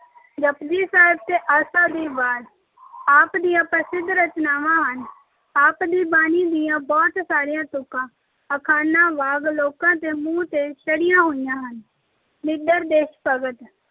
ਜਪੁਜੀ ਸਾਹਿਬ ਤੇ ਆਸਾ ਦੀ ਵਾਰ ਆਪ ਦੀਆਂ ਪ੍ਰਸਿੱਧ ਰਚਨਾਵਾਂ ਹਨ। ਆਪ ਦੀ ਬਾਣੀ ਦੀਆਂ ਬਹੁਤ ਸਾਰੀਆਂ ਤੁਕਾਂ ਅਖਾਣਾਂ ਵਾਂਗ ਲੋਕਾਂ ਦੇ ਮੂੰਹ ਤੇ ਚੜੀਆਂ ਹੋਈਆਂ ਹਨ।